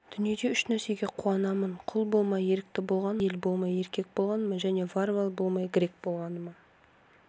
дүниеде үш нәрсеге қуанамын құл болмай ерікті болғаныма әйел болмай еркек болғаныма және варвар болмай грек болғаныма